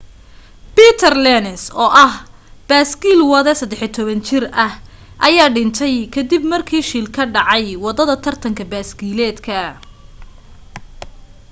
peter lenz oo ah baaskiil wade 13 jir ah ayaa dhintay kadib markii shil ka dhacay wadada tartan baskiiladeedka